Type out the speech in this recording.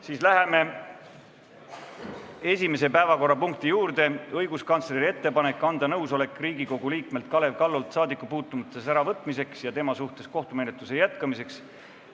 Siis läheme esimese päevakorrapunkti juurde: õiguskantsleri ettepanek anda nõusolek Riigikogu liikmelt Kalev Kallolt saadikupuutumatuse äravõtmiseks ja tema suhtes kohtumenetluse jätkamiseks.